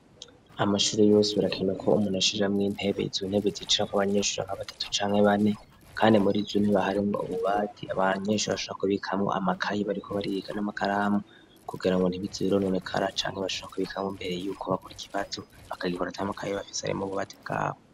Amashuri yose birakenerwa ko umuntu ashira mw'intebe. Izo ntebe zicira ko abanyeshure nka batatu canke bane .Kandi muri zo baharimwo ububati abanyeshure bashobora kubikamo amakaye bariko bariga n'amakaramu kugira ngo ntibize bironekara canke bashobore kubikamo imbere yuko bakora ikibazo bakarikora ata amakaye bafise arimo mububati bwabo.